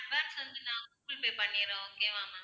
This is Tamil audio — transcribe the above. வந்து நான் கூகுள் pay பண்ணிடறேன் okay வா ma'am